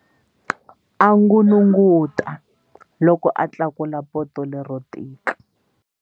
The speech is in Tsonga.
A n'unun'uta loko a tlakula poto lero tika.